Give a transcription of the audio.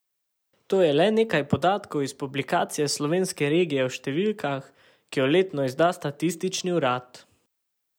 To je le nekaj podatkov iz publikacije Slovenske regije v številkah, ki jo letno izda statistični urad.